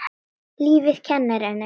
Lífið kennir henni.